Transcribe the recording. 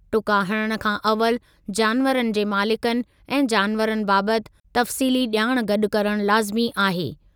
टुका हणण खां अवलि जानवरनि जे मालिकनि ऐं जानवरनि बाबति तफ़सीली ॼाण गॾु करण लाज़िमी आहे।